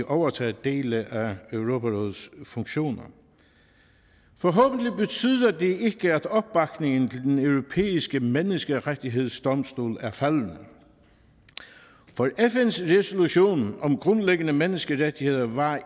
overtaget dele af europarådets funktioner forhåbentlig betyder det ikke at opbakningen til den europæiske menneskerettighedsdomstol er faldende for fns resolution om grundlæggende menneskerettigheder var